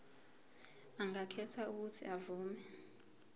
angakhetha uuthi avume